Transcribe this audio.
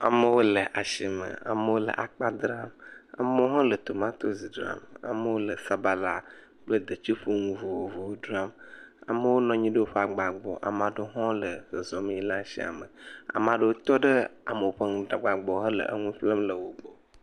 Amewo le asime, amewo le akpa dzram, amewo hã le tomatosi dzram, amewo le sabala dzram kple detsiƒonu vovovowo dzram, ame ɖewo hã nɔ anyi ɖe woƒe agba gbɔ, ame aɖewo hã le zɔzɔm yina ɖe asia me, ame aɖewo tɔ ɖe ame aɖewo ƒe agba gbɔ hele enu ƒlem le wo gbɔ.